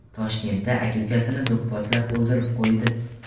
Toshkentda aka ukasini do‘pposlab o‘ldirib qo‘ydi.